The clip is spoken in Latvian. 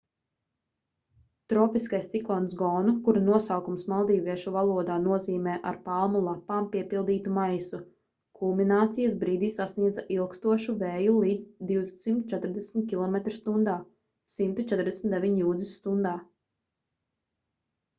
tropiskais ciklons gonu kura nosaukums maldīviešu valodā nozīmē ar palmu lapām piepildītu maisu kulminācijas brīdī sasniedza ilgstošu vēju līdz 240 km/stundā 149 jūdzes/stundā